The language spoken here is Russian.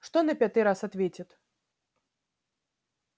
что на пятый раз ответит